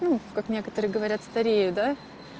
ну как некоторые говорят старею да